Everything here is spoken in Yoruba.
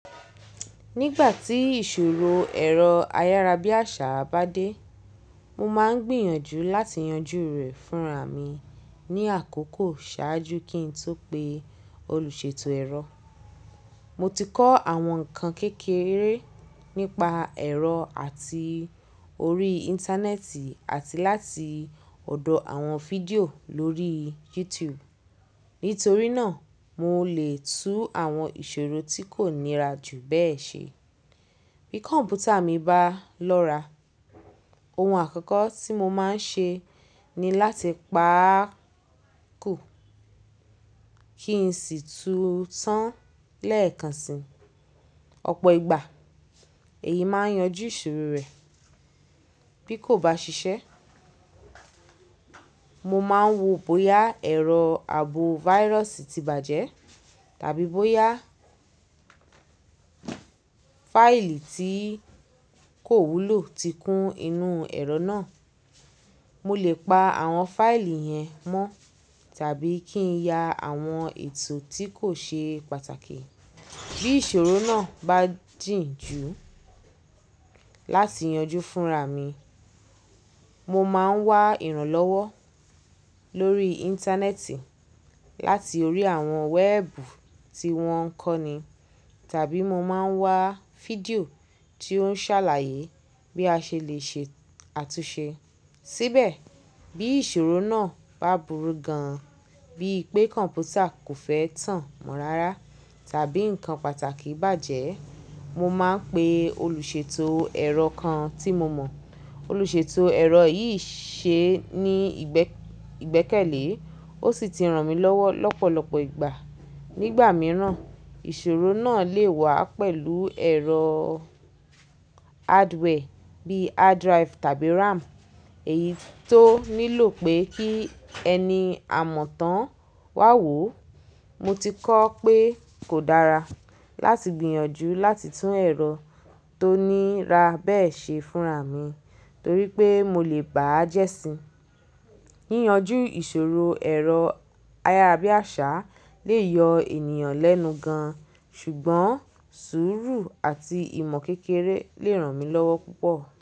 Nígbà tí ìṣòro ẹ̀rọ ayárabíàṣá bá dé, mo máa ń gbìyànjú láti yanjú rẹ̀ fúnra mi ní àkókò ṣáájú kí n tó pe olùṣètò ẹ̀rọ. Mo ti kọ́ àwọn nǹkan kékeré nípa ẹ̀rọ àti orí Íńtánẹ́ẹ̀tì àti láti ọ̀dọ̀ àwọn fídíò lórí YouTube. Nítorí náà, mo lè tú àwọn ìṣòro tí kò nira jù bẹ́ẹ̀ ṣe. Bí kọ̀mpútà mi bá lọ́ra, ohun àkọ́kọ́ tí mo máa ń ṣe ni láti pa á kù kí n sì tú u tán lẹ́ẹ̀kan si. Ọ̀pọ̀ ìgbà èyí máa ń yanjú ìṣòro rẹ̀. Bí kò bá ṣiṣẹ́, mo máa ń wo bóyá ẹ̀rọ ààbò virus ti bàjẹ́ tàbí bóyá fáìlì tí kò wúlò ti kún inú ẹ̀rọ náà. Mo lè pa àwọn fáìlì yẹn mọ́ tàbí kí n ya àwọn ètò tí kò ṣe pàtàkì. Bí ìṣòro náà bá jìn ju láti yanjú fúnra mi, mo máa ń wá ìrànlọ́wọ́ lórí Íńtánẹ́ẹ̀tì láti orí àwọn wẹ́ẹ̀bù tí wọ́n ń kọ́ni tàbí mo máa ń wá fídíò tí ó ṣàlàyé bí a ṣe lè ṣe àtúnṣe síbẹ̀. Bí ìṣòro náà bá burú gan an, bí i pé kọ̀mpútà kò fẹ́ tàn mọ́ rárá tàbí nǹkan pàtàkì bàjẹ́, mo máa ń pe olùṣètò ẹ̀rọ kan tí mo mọ̀. Olùṣètò ẹ̀rọ yìí ṣe ní ìgbẹ́kẹ̀lé, ó sì ti ràn mí lọ́wọ́ lọ́pọ̀lọpọ̀ ìgbà. Nígbà míiràn, ìṣòro náà lè wá pẹ̀lú ẹ̀rọ hardware bíi hard drive tàbí RAM, èyí tó nílò pé kí ẹni àmọ̀tán wá wò. Mo ti kọ́ pé kò dára láti gbìyànjú láti tún ẹ̀rọ tó nira bẹ́ẹ̀ ṣe fúnra mi torí pé mo lè ba á jẹ́ sí i. Yíyanjú ìṣòro ẹ̀rọ ayárabíàṣá lè yọ ènìyàn lẹ́nu gan an, ṣùgbọ́n sùúrù àti ìmọ̀ kékeré lè ràn mí lọ́wọ́ púpọ̀.